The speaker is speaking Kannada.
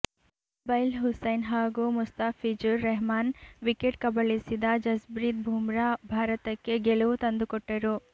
ರುಬೆಲ್ ಹುಸೈನ್ ಹಾಗೂ ಮುಸ್ತಾಫಿಜುರ್ ರಹಮಾನ್ ವಿಕೆಟ್ ಕಬಳಿಸಿದ ಜಸ್ಬ್ರೀತ್ ಬುಮ್ರಾ ಭಾರತಕ್ಕೆ ಗೆಲುವು ತಂದುಕೊಟ್ಟರು